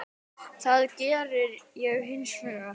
Það gerði ég hins vegar.